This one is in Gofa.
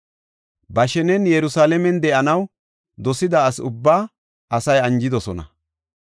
Ba shenen Yerusalaamen de7anaw dosida asa ubbaa asay anjidosona.